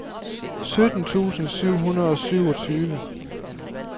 sytten tusind syv hundrede og syvogtyve